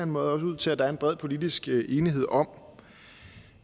måde også ud til at der er en bred politisk enighed om